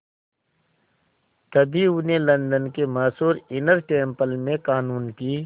तभी उन्हें लंदन के मशहूर इनर टेम्पल में क़ानून की